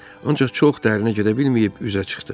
Ancaq çox dərinə gedə bilməyib üzə çıxdı.